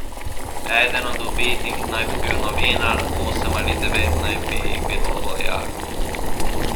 Eden od ubitih naj bi bil novinar, osem ali devet naj bi jih bilo vojakov.